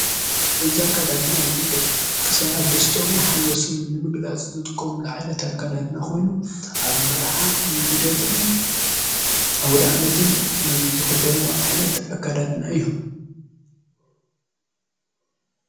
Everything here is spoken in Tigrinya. እዛ አከዳድና ዙይ ደቂ ሰባት ደስተኦምን ሓጎሶም ንምግላጽ ዘጥቆምሉ ዓይነት ኣካዳድና ኾይኑ ኣብ መርዓ ልደትን ኣውድኣመትን ዝዂደንዎ ዓይነት ኣካዳድና እዩ።